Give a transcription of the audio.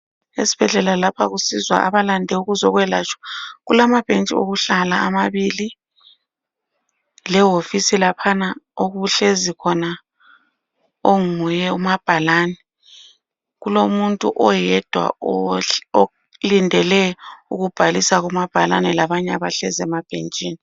Esibhedlela lapha kusizwa abalande ukuzoyelatshwa. Kulamabhentshi okuhlala amabili. Lewofisi laphana okuhlezi khona onguye umabhalani. Kulomuntu oyedwa olindele ukubhalisa kumabhalani labanye abahlezi emabhentshini.